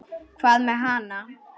Hvað með hana?